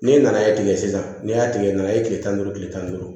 N'e nana e tigɛ sisan n'i y'a tigɛ i nana ye kile tan ni duuru kile tan ni duuru